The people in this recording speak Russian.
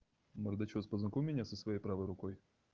бордачёв познакомь меня со своей правой рукой